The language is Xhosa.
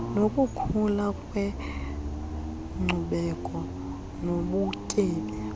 nokukhula kwenkcubeko nobutyebi